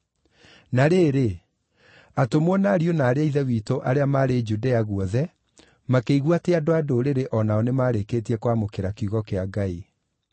Na rĩrĩ, atũmwo, na ariũ na aarĩ a Ithe witũ arĩa maarĩ Judea guothe makĩigua atĩ andũ-a-Ndũrĩrĩ o nao nĩmarĩkĩtie kwamũkĩra kiugo kĩa Ngai.